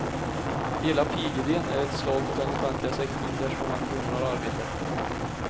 Hela pigidén är ett slag mot den offentliga sektorn där så många kvinnor har arbete.